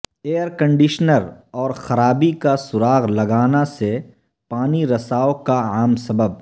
year conditioner اور خرابی کا سراغ لگانا سے پانی رساو کا عام سبب